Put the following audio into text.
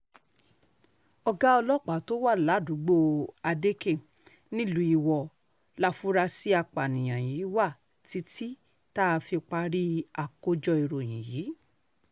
àgọ́ ọlọ́pàá tó wà ládùúgbò adeeké nílùú iwọ láforasí àpààyàn yìí wà títí tá a fi parí àkójọ ìròyìn yìí